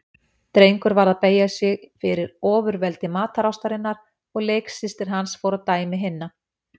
Drengur varð að beygja sig fyrir ofurveldi matarástarinnar og leiksystir hans fór að dæmi hinna.